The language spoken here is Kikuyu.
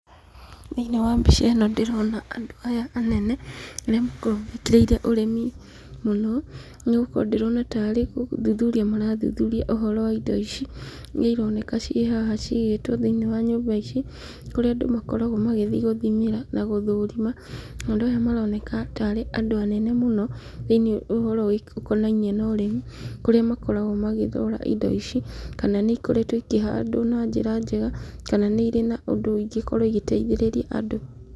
Thĩinĩ wa mbica ĩno ndĩrona andũ aya anene arĩa makoragwo manyitĩrĩire ũrĩmi mũno nĩgũkorwo ndĩrona tarĩ gũthuthuria marathuthuria ũhoro wa indo ici nĩironeka ciĩ haha cigĩĩtwo thĩinĩ nyũmba ici kũrĩa andũ makoragwo magĩthiĩ gũthimĩra na gũthũrima. Andũ aya maroneka tarĩ andũ anene mũno thĩ-inĩ wa ũhoro ũkonainie na ũrĩmi kũrĩa makoragwo magĩthura indo ici kana nĩ ikoretwo ikĩhandwo na njĩra njega kana nĩirĩ na ũndũ ingĩkorwo igĩteithĩrĩria andũ